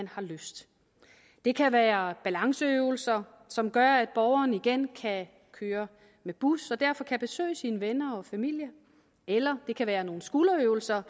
har lyst det kan være balanceøvelser som gør at borgeren igen kan køre med bus og derfor kan besøge sine venner og familie eller det kan være nogle skulderøvelser